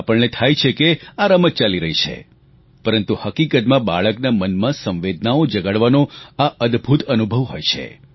આપણને થાય છે કે આ રમત ચાલી રહી છે પરંતુ હકીકતમાં બાળકના મનમાં સંવેદનાઓ જગાડવાનો આ અદભૂત અનુભવ હોય છે